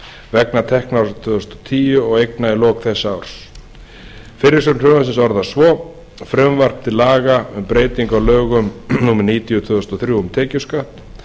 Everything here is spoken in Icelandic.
vegna tekna ársins tvö þúsund og tíu og eigna í lok þess árs þriðja fyrirsögn frumvarpsins orðist svo frumvarp til laga um breytingu á lögum númer níutíu tvö þúsund og þrjú um tekjuskatt